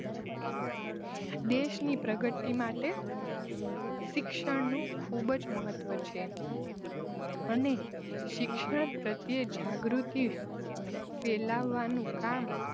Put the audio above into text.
દેશની પ્રગતિ માટે શિક્ષણનું ખુબ જ મહત્વ છે અને શિક્ષણ પ્રત્યેય જાગૃતિ ફેલાવવાનું કામ